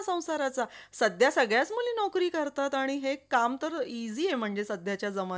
ते करा दहा दहा हजार रुपये द्या. ते हम्म त्यांनी पण मंग काही लोक कर्ज काढत नाही ना ग.